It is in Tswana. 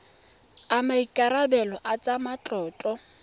a maikarebelo a tsa matlotlo